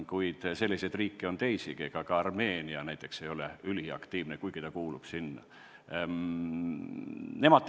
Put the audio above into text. Kuid selliseid riike on teisigi, ka Armeenia ei ole üliaktiivne, kuigi ta sinna kuulub.